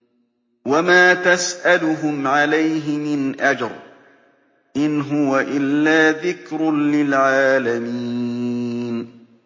وَمَا تَسْأَلُهُمْ عَلَيْهِ مِنْ أَجْرٍ ۚ إِنْ هُوَ إِلَّا ذِكْرٌ لِّلْعَالَمِينَ